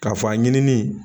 K'a fɔ a ɲinini